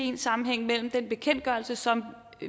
en sammenhæng mellem den bekendtgørelse som